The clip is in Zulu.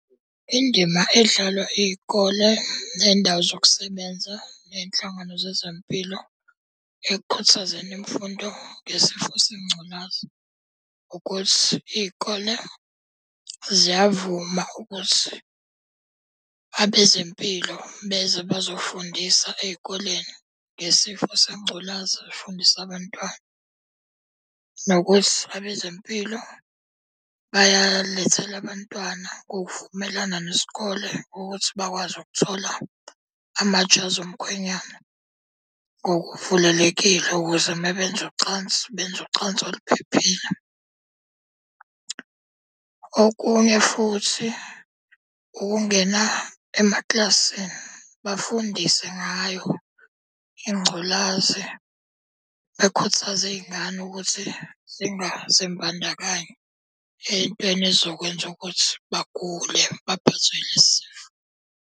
Indima edlalwa iy'kole nendawo zokusebenza ney'nhlangano zezempilo ekukhuthazeni imfundo ngesifo sengculazi. Ukuthi iy'kole ziyavuma ukuthi abezempilo beze bazofundisa ey'koleni ngesifo sengculaza bafundisa abantwana. Nokuthi abezempilo bayalethela abantwana ngokuvumelana nesikole ukuthi bakwazi ukuthola amajazi omkhwenyana ngokuvulelekile. Ukuze mabenza ucansi benze nocansi oluphephile. Okunye futhi, ukungena emaklasini bafundise ngayo ingculazi bekhuthaze iy'ngane ukuthi zingazimbandakanyi ey'ntweni ezokwenza ukuthi bagule baphathwe ilesi sifo.